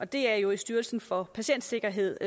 det er jo i styrelsen for patientsikkerhed